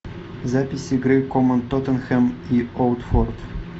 запись игры команд тоттенхэм и уотфорд